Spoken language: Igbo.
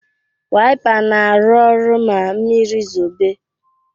Wipa na arụ ọrụ ma mmiri zobe